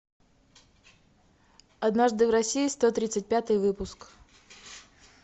однажды в россии сто тридцать пятый выпуск